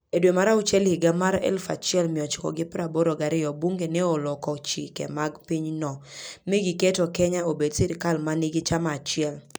E dwe mar auchiel higa 1982, bunge ne oloko chike mag pinyno mi giketo Kenya obed sirkal ma nigi chama achiel.